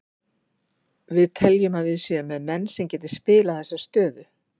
Við teljum að við séum með menn sem geti spilað þessa stöðu.